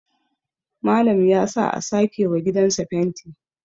Malam ya sa a sake wa gidansa fenti